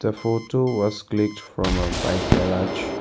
Photo was clicked from a bike garage.